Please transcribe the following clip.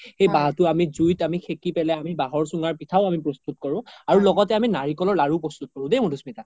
সেই বাহতো জুই আমি সেকি পেলে আমি বাহৰ চোঙাৰ পিঠাও আমি প্ৰস্তুত কৰো আৰু লগতে আমি নাৰিকলৰ লাৰোও প্ৰস্তুত কৰো দেই আমি মাধুস্মিতা